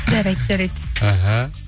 жарайды жарайды іхі